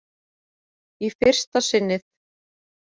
Í fyrsta sinnið.